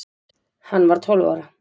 Hann var tólf ára.